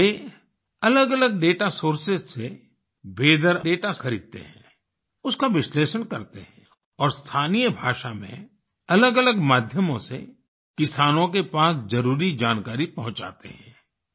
अब वे अलगअलग दाता सोर्सेस से वीथर दाता खरीदते हैं उसका विश्लेषण करते हैं और स्थानीय भाषा में अलगअलग माध्यमों से किसानों के पास जरुरी जानकारी पहुंचाते हैं